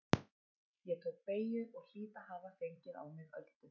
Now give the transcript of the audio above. Ég tók beygju og hlýt að hafa fengið á mig öldu.